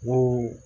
Mun